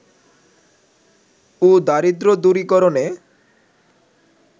ও দারিদ্র দূরীকরণে